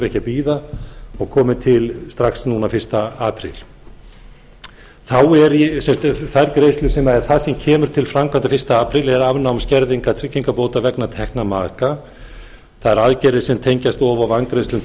ekki að bíða og komi til strax núna fyrsta apríl þá er það sem kemur til framkvæmda fyrsta apríl eða afnám skerðingar tryggingabóta vegna tekna maka þær aðgerðir sem tengjast og vangreiðslu